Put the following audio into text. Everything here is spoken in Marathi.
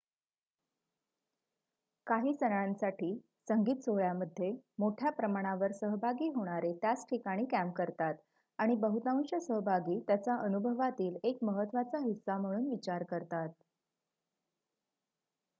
काही सणांसाठी संगीत सोहळ्यामध्ये मोठ्या प्रमाणावर सहभागी होणारे त्याच ठिकाणी कॅम्प करतात आणि बहुतांश सहभागी त्याचा अनुभवातील एक महत्त्वाचा हिस्सा म्हणून विचार करतात